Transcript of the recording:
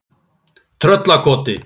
Tröllakoti